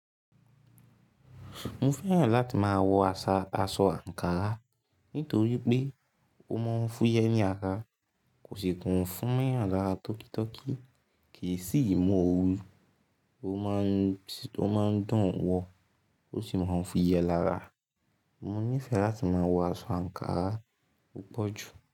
Mo fẹ́ràn láti máa wọ aṣọ àǹkárá nítorí pé ó máa ń fúyẹ́ ní ara, kò sì tun fún mo yàn lára tọ́kítọ́kí kì í sì mú ooru, ó má ń dùn wọ ó sì máa ń fúyẹ́ lára. Mo nífẹ̀ẹ́ láti máa wọ aṣọ àǹkárá púpọ̀ jù.